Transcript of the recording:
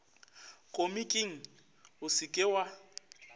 komiking o se ke wa